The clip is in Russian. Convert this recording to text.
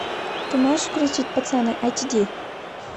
ты можешь включить пацаны айч ди